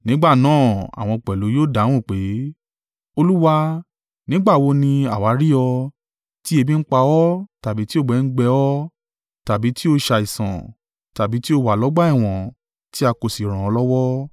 “Nígbà náà àwọn pẹ̀lú yóò dáhùn pé, ‘Olúwa, nígbà wo ni àwa rí ọ, tí ebi ń pa ọ́ tàbí tí òǹgbẹ ń gbẹ ọ́, tàbí tí o ṣàìsàn, tàbí tí o wà lọ́gbà ẹ̀wọ̀n, tí a kò sí ràn ọ́ lọ́wọ́?’